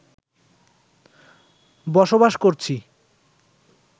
বসবাস করছি